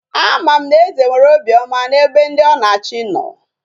Ama m na eze nwere obi oma na ebe ndi o na achi no.